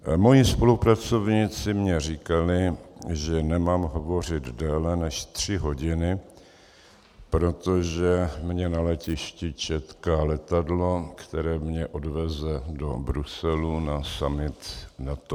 Moji spolupracovníci mi říkali, že nemám hovořit déle než tři hodiny, protože mě na letišti čeká letadlo, které mě odveze do Bruselu na summit NATO.